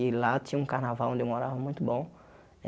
E lá tinha um carnaval onde eu morava muito bom.